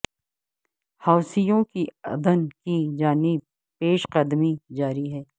حوثیوں کی عدن کی جانب پیش قدمی جاری ہے